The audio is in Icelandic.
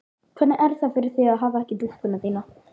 Hvernig er það fyrir þig að hafa ekki dúkkuna þína?